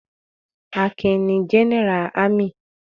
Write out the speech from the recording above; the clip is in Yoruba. Akin ni Jẹ́nẹ́rà ámì.